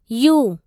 U